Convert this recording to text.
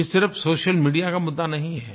ये सिर्फ़ social media का मुद्दा नहीं है